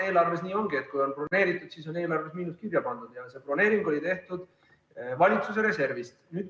Eelarve puhul nii ongi, et kui on broneeritud, siis on eelarves miinus kirja pandud, ja see broneering oli tehtud valitsuse reservist.